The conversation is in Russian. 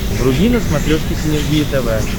вруби на смотрешке синергия тв